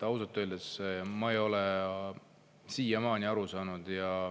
Ausalt öeldes ma ei ole sellest siiamaani aru saanud.